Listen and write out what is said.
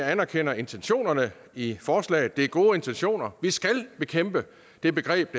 anerkender intentionerne i forslaget det er gode intentioner vi skal bekæmpe det begreb